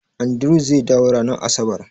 Andrew zai dawo ranar Asabar